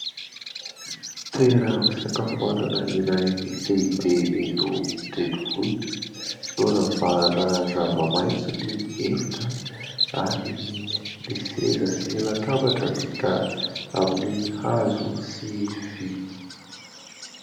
Toeram-pisakafoanana iray lehibe eto an-drenivohitra noravahana zavamaitso ny efitra ary ny seza sy latabatra vita amin'ny hazo sy vy.